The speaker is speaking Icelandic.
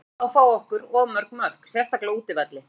Við erum ennþá að fá á okkur of mörg mörk, sérstaklega á útivelli.